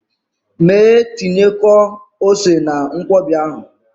Mee tinyekwuo ose na Nkwobi ahụ!